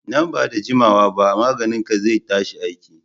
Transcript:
Nan ba da juma wa ba maganin ka zai tashi aiki